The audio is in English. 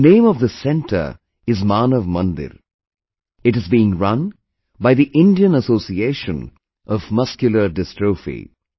The name of this centre is 'Manav Mandir'; it is being run by the Indian Association of Muscular Dystrophy